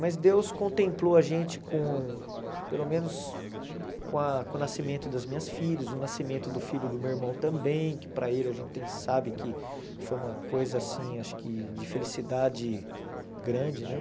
Mas Deus contemplou a gente com, pelo menos, com a com o nascimento das minhas filhas, o nascimento do filho do meu irmão também, que para ele a gente tem sabe que foi uma coisa assim, acho que de felicidade grande, né?